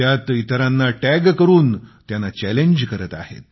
त्यात इतरांना टॅग करून त्यांना चॅलेंज करीत आहेत